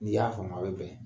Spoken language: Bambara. N'i y'a faamu aw be bɛn.